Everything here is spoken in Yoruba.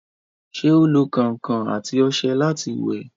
ṣé ó lo kẹ̀ǹkẹ̀ àti ọṣẹ láti wẹ̀?